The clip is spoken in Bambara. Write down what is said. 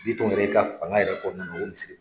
Bitɔn yɛrɛ ka fanga yɛrɛ kɔnɔna la o misiri